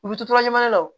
U bɛ to ɲɛna wo